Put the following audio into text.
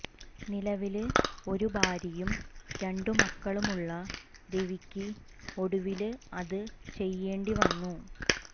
നിലവില് ഒരു ഭാര്യയും രണ്ടു മക്കളുമുള്ള രവിക്ക് ഒടുവില് അതു ചെയ്യേണ്ടി വന്നു